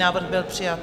Návrh byl přijat.